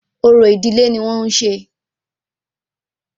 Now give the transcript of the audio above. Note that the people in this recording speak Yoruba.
Orò ìdílé ní wọ́n ń ṣe